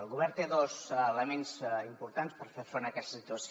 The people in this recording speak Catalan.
el govern té dos elements importants per fer front a aquesta situació